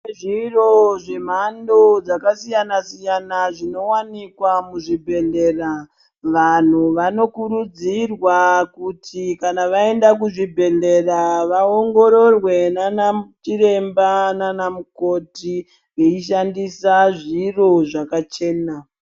Kune zviro zvemhando dzakasiyana siyana zvinowanikwa kuzvibhedhlera vanhu vanokuridzirwa kuti kana vaenda kuzvibhedhlera vaongororarwe nana chiremba nana mukoti vachishandisa zviro dzakachena.